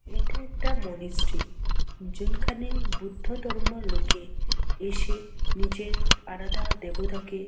এটি একটা মনিস্ট্রি । যেখানে বুদ্ধধর্মের লোকে এসে নিজের আরোধা দেবতা কে--